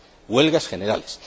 huelgas generales